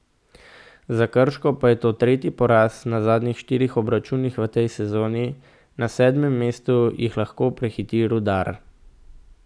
Za Krško pa je to tretji poraz na zadnjih štirih obračunih v tej sezoni, na sedmem mestu jih lahko prehiti Rudar.